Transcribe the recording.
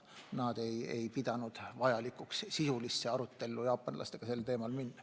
Nad ei ole pidanud vajalikuks sisulisse arutellu jaapanlastega sel teemal astuda.